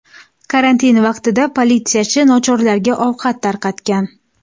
Karantin vaqtida politsiyachi nochorlarga ovqat tarqatgan.